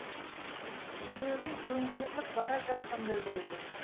жүрегім төңкеріліп бара жатқандай болды